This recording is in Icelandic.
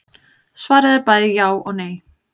Svarið er bæði já og nei.